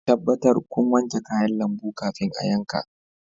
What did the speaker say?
Tabbatar kun wanke kayan lambu kafin a yanka.